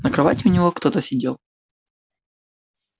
на кровати у него кто-то сидел